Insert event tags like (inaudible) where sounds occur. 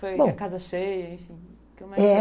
Bom, foi a casa cheia, enfim? É (unintelligible)